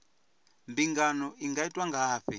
mbingano i nga itwa ngafhi